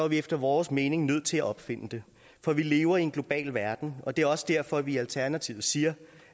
vi efter vores mening nødt til at opfinde det for vi lever i en global verden og det er også derfor at vi i alternativet siger